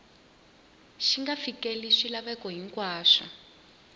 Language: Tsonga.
xi nga fikeleli swilaveko hinkwaswo